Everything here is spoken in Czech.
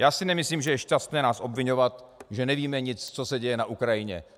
Já si nemyslím, že je šťastné nás obviňovat, že nevíme nic, co se děje na Ukrajině.